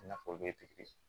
I n'a fɔ o bɛ